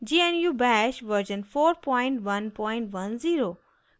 * gnu bash version 4110